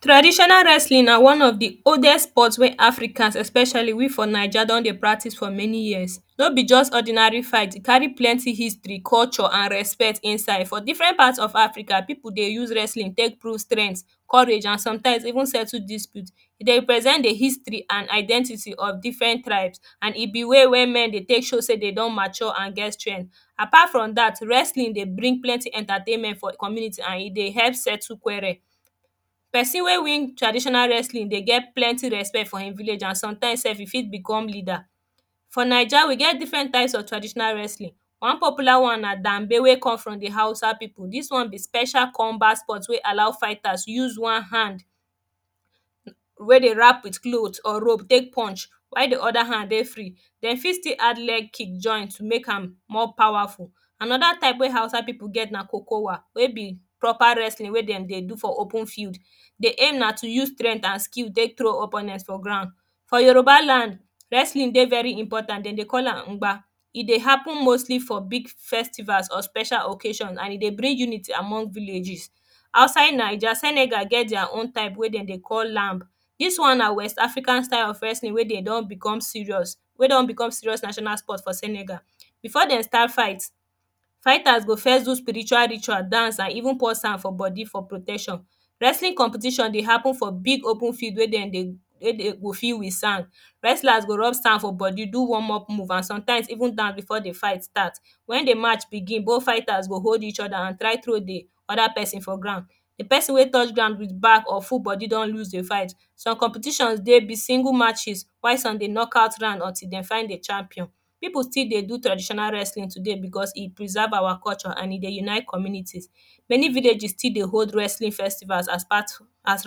traditional wrestling na one of the oldest sport wey africans especially we for Naija don dey practice for many years no be just ordinary fight, e carry lenty history culture and respect inside for diferent part of Africa, people dey use wrestling take build strength courage and sometimes even settle dispute e dey represent history and identity of difren ribes an e be way wey men take show sey dey don mature an get strength apart from that, wrestling dey bring plenty entertainment for community an e dey help settle qurrel person wey win traditional wrestling dey get plenty respect for him village an sometimes sef e fit become leader for Naija we get difren types of traditional wrestling one popular one na danbe wey come from the hausa people this one is special ombat sports wey come dey allow fighters to use oe hand wey dey wrap with cloth or rope take punch while dey oda hand dey free dem fit still add leg kick join to make am more powerful anoda type wey hausa people get na Okowa we be proper wrestling wey dem dey do for open field. the aim na to use strength and skill take throw your opponent for ground for Yoruba land, wrestling dey very important; dem dey call am mgba e dey happen mostly for big festival or special occasions an e dey bring unity among villages outside Naija, senegal get their own wey dem dey call lamb this one na west African style of wrestling wey dem don become serious wey don become serious national sports for senegal. Before dem start fight fighters go first do spritual ritual dance an even pour sand for body for protection wrestling competition dey happen for big open field wey dem dey fill with sand wrestlers go rub sand for body do warm up moves an some time even dance before the fight start when the march begin, both fighters go hold eachoda hand try throw dey oda person for ground. the perosn wey touch ground with back or full body don lose the fight some competitions dey be single matches why some be knock out round untill dem find the champion people still dey do traditional wrestling today because e preserve awa culture an e dey unite communities many villages still dey hold wrestling festivals as part of as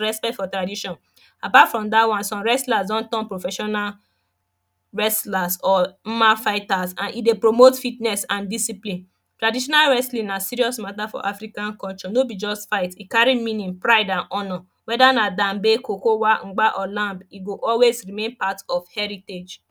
respect for tradition apart from dat one some wrestlers don turn professional wrestlers or Mma fighters an e dey promote fitness an discipine traditional wrestling na serious mata for African culture no be just fight e carry meaning pride an honour weda na Namgbe kokowa Mgba or lamb e go always remain part of heritage